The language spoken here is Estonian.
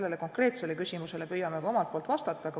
Sellele konkreetsele küsimusele püüame ka omalt poolt vastata.